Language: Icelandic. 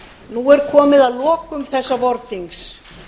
nú er komið að lokum þessa vorþings